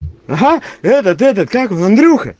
ага этот этот как его андрюха